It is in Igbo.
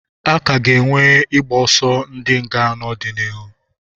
A ka ga-enwe ịgbọsọ ndi nga n'ọdịnihu.